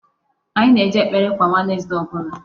Anyị na-eje ekpere kwa Wednesday ọbụla.